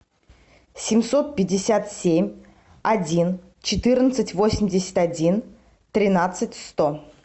семьсот пятьдесят семь один четырнадцать восемьдесят один тринадцать сто